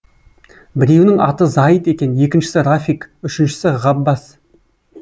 біреуінің аты зайыт екен екіншісі рафик үшіншісі ғаббас